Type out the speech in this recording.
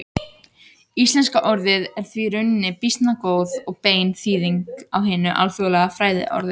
Íslenska orðið er því í rauninni býsna góð og bein þýðing á hinu alþjóðlega fræðiorði.